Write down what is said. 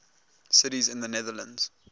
cities in the netherlands